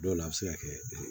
Dɔw la a bɛ se ka kɛ